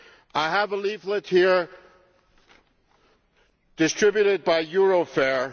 I have a leaflet here distributed by Eurofair.